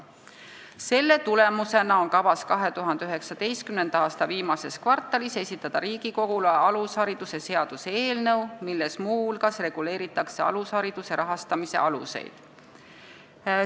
Selle tulemusena on kavas 2019. aasta viimases kvartalis esitada Riigikogule alushariduse seaduse eelnõu, milles muu hulgas reguleeritakse alushariduse rahastamise aluseid.